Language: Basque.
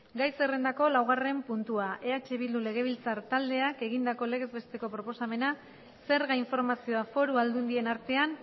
gai zerrendako laugarren puntua eh bildu legebiltzar taldeak egindako legez besteko proposamena zerga informazioa foru aldundien artean